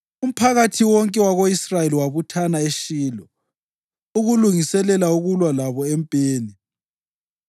umphakathi wonke wako-Israyeli wabuthana eShilo ukulungiselela ukulwa labo empini.